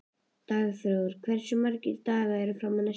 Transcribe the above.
Dagþór, hversu margir dagar fram að næsta fríi?